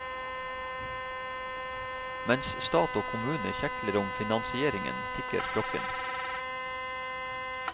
Mens stat og kommune kjekler om finansieringen, tikker klokken.